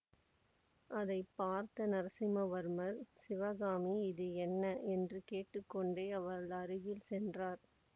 அதை பார்த்த நரசிம்மவர்மர் சிவகாமி இது என்ன என்று கேட்டுக்கொண்டே அவள் அருகில் சென்றார்